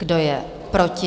Kdo je proti?